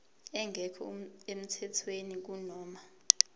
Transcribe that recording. engekho emthethweni kunoma